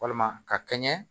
Walima ka kɛɲɛ